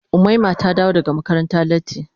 Umaima ta dawo daga makaranta latti.